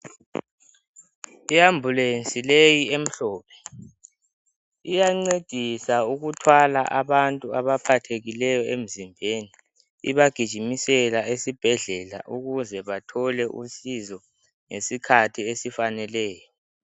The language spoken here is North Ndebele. I ambulance leyi emhlophe iyancedisa ukuthwala abantu abaphathekileyo emzimbeni , ibagijimisela esibhedlela ukuze bathole usizo ngesikhathi esifaneleyo